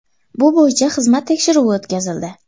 Bu bo‘yicha xizmat tekshiruvi o‘tkazildi.